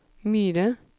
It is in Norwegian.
Myre